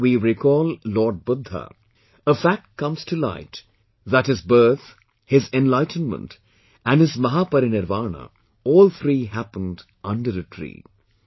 If we recall Lord Buddha, a fact comes to light that his birth, his enlightenment and his Mahaparinirvana, all three happened under a tree